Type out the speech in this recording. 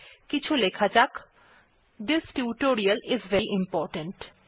কিছু লেখা যাক this tutorial is very important